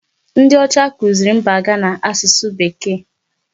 Ndị ọcha kuziri mba Ghana asụsụ Bekee.